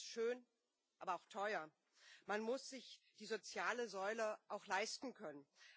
Das ist schön, aber auch teuer. Man muss sich die soziale Säule auch leisten können.